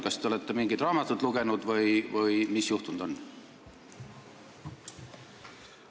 Kas te olete mingit raamatut lugenud või mis on juhtunud?